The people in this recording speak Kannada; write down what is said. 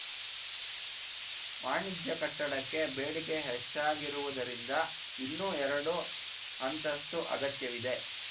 ವಾಣಿಜ್ಯ ಕಟ್ಟಡಕ್ಕೆ ಬೇಡಿಕೆ ಹೆಚ್ಚಾಗಿರುವುದರಿಂದ ಇನ್ನೂ ಎರಡು ಅಂತಸ್ತು ಅಗತ್ಯವಿದೆ